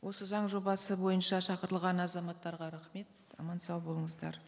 осы заң жобасы бойынша шақырылған азаматтарға рахмет аман сау болыңыздар